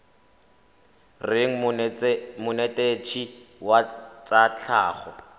reng monetetshi wa tsa tlhago